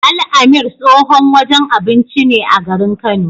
Al-amir tsohon wajen abinci ne a garin Kano.